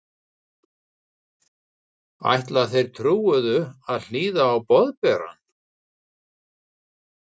Ætla þeir trúuðu að hlýða á Boðberann?